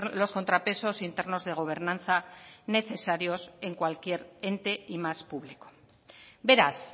los contrapesos internos de gobernanza necesarios en cualquier ente y más público beraz